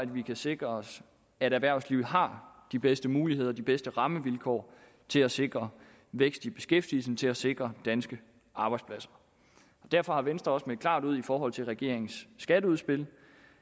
vi kan sikre os at erhvervslivet har de bedste muligheder de bedste rammevilkår til at sikre vækst i beskæftigelsen til at sikre danske arbejdspladser derfor har venstre også meldt klart ud i forhold til regeringens skatteudspil